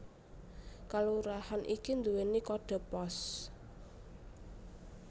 Kalurahan iki nduwèni kodhe pos